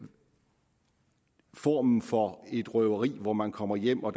form for røveri hvor man kommer hjem og